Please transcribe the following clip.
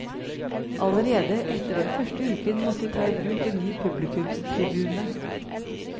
Allerede etter den første uken måtte vi ta i bruk en ny publikumstribune.